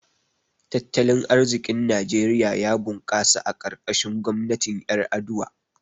Tattalin arziƙin Najeriya ya bunkasa a karkashin gwamnatin Ƴar’aduwa.